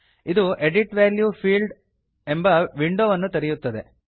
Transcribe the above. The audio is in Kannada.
ಇದು edit value field edit value field ಎಂಬ ವಿಂಡೋವನ್ನು ತೆರೆಯುತ್ತದೆ